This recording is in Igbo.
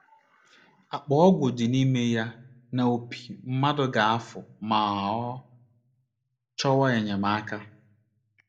Akpa ọgwụ dị n’ime ya na opi mmadụ ga - afụ ma ọ chọwa enyemaka